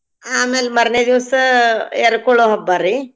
ಆಮೇಲ್ ಮಾರ್ನೆ ದಿವ್ಸ ಎರ್ಕೊಳೋ ಹಬ್ಬ ರೀ.